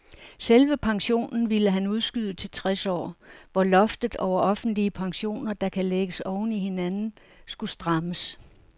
Selve pensionen ville han udskyde til tres år, hvor loftet over offentlige pensioner, der kan lægges oven i hinanden, skulle strammes.